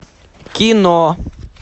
кино